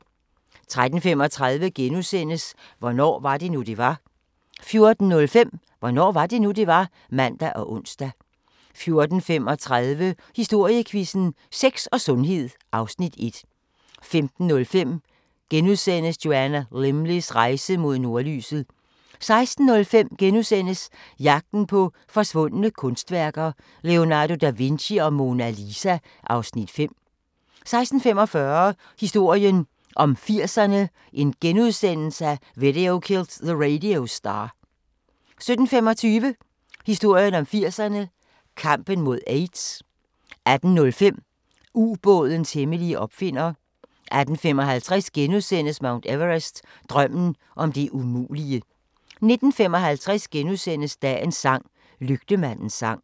13:35: Hvornår var det nu, det var? * 14:05: Hvornår var det nu, det var? (man og ons) 14:35: Historiequizzen: Sex og sundhed (Afs. 1) 15:05: Joanna Lumleys rejse mod nordlyset * 16:05: Jagten på forsvundne kunstværker - Leonardo da Vinci og Mona Lisa (Afs. 5)* 16:45: Historien om 80'erne: Video Killed the Radio Star * 17:25: Historien om 80'erne: Kampen mod AIDS 18:05: Ubådens hemmelige opfinder 18:55: Mount Everest – Drømmen om det umulige * 19:55: Dagens sang: Lygtemandens sang *